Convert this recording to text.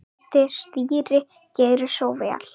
Heitt stýri, gerið svo vel.